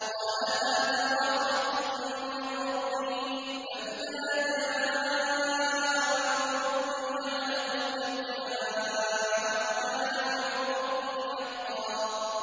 قَالَ هَٰذَا رَحْمَةٌ مِّن رَّبِّي ۖ فَإِذَا جَاءَ وَعْدُ رَبِّي جَعَلَهُ دَكَّاءَ ۖ وَكَانَ وَعْدُ رَبِّي حَقًّا